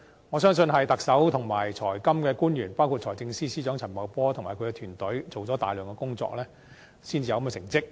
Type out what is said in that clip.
我相信是特首及財金官員，包括財政司司長陳茂波及其團隊，做了大量工作，才有這個成績。